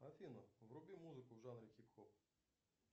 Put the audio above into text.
афина вруби музыку в жанре хип хоп